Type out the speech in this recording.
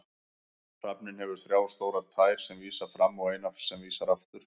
Hrafninn hefur þrjá stórar tær sem vísa fram og eina sem vísar aftur.